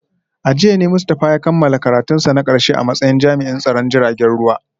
A jiya ne Mustafa ya kammala karatunsa na karshe a matsayin jami’in tsaron jiragen ruwa